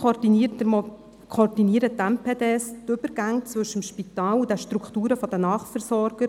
Weiter koordinieren MPD die Übergänge zwischen Spital und den Strukturen der Nachversorger.